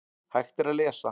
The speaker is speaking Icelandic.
Hægt er að lesa